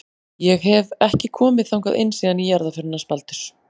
Ég hef. ekki komið þangað inn síðan í jarðarförinni hans Baldurs.